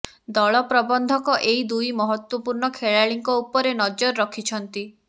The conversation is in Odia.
ଦଳ ପ୍ରବନ୍ଧକ ଏହି ଦୁଇ ମହତ୍ବପୂର୍ଣ୍ଣ ଖେଳାଳିଙ୍କ ଉପରେ ନଜର ରଖିଛନ୍ତି